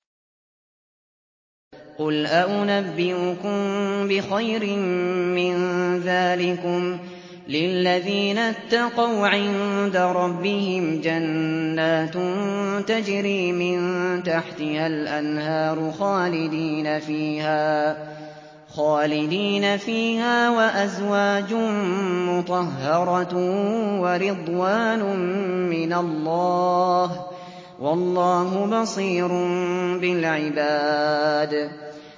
۞ قُلْ أَؤُنَبِّئُكُم بِخَيْرٍ مِّن ذَٰلِكُمْ ۚ لِلَّذِينَ اتَّقَوْا عِندَ رَبِّهِمْ جَنَّاتٌ تَجْرِي مِن تَحْتِهَا الْأَنْهَارُ خَالِدِينَ فِيهَا وَأَزْوَاجٌ مُّطَهَّرَةٌ وَرِضْوَانٌ مِّنَ اللَّهِ ۗ وَاللَّهُ بَصِيرٌ بِالْعِبَادِ